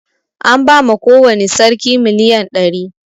An ba ma kowani sarki miliyan ɗari